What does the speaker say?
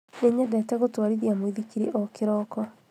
Nĩnyendete gũtwarithia muithikiri o kĩroko